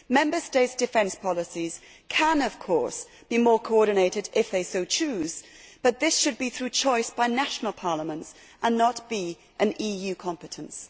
Member States' defence policies can of course be more coordinated if they so choose, but this should be through choice by national parliaments and not be an EU competence.